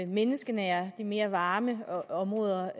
menneskenære de mere varme områder